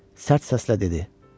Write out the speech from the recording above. Sərt səslə dedi: